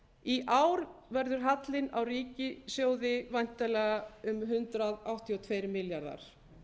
í ár verður hallinn á ríkissjóði væntanlega um hundrað áttatíu og tveir milljarðar